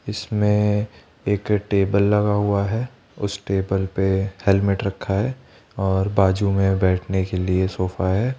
इसमें एक टेबल लगा हुआ है उस टेबल पे हेल्मेट रखा है और बाजू में बैठने के लिए सोफा है।